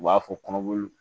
U b'a fɔ kɔnɔboli